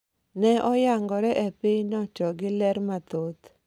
ne oyangore e pinyno to gi ler mathoth